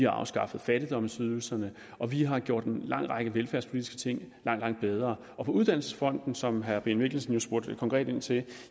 afskaffet fattigdomsydelserne og vi har gjort en lang række velfærdspolitiske ting langt bedre på uddannelsesfronten som herre brian mikkelsen spurgte konkret til